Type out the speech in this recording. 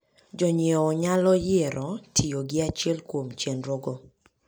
Jonyiewo nyalo yiero tiyo gi achiel kuom chenrogo.